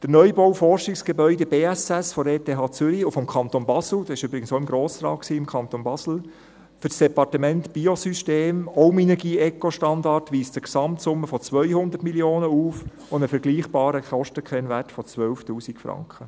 Der Neubau des Forschungsgebäudes BSS der ETH Zürich und des Kantons Basel – dieser war übrigens im Kanton Basel auch im Grossen Rat – für das Departement für Biosysteme, ebenfalls Minergie-ECO-Standard, weist eine Gesamtsumme von 200 Mio. Franken auf und einen vergleichbaren Kostenkennwert von 12 000 Franken.